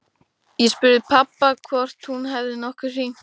Ég spurði pabba hvort hún hefði nokkuð hringt.